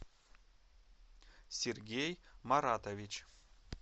сергей маратович